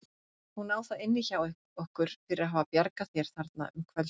Hún á það inni hjá okkur fyrir að hafa bjargað þér þarna um kvöldið.